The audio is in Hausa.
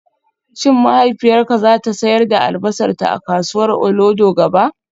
Shin mahaifiyarka za ta sayar da albasarta a kasuwar Olodo gaba?